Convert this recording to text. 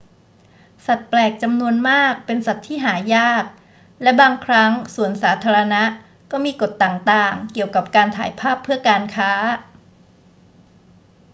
สัตว์แปลกจำนวนมากเป็นสัตว์ที่หายาก และบางครั้งสวนสาธารณะก็มีกฎต่าง ๆ เกี่ยวกับการถ่ายภาพเพื่อการค้า